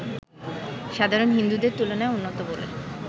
সাধারণ হিন্দুদের তুলনায় উন্নত বলে